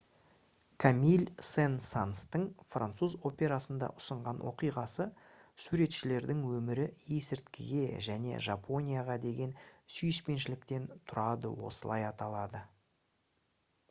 камиль сен-санстың француз операсында ұсынған оқиғасы «суретшілердің өмірі есірткіге және жапонияға деген сүйіспеншіліктен тұрады» осылай аталады